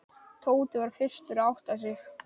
Tóti var fyrstur að átta sig.